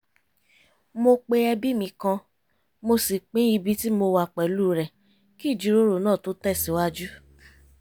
mo pe ẹbí mi kan mo sì pín ibi ti mo wà pẹ̀lú rẹ̀ kí ìjíròrò náà tó tẹ̀sìwájú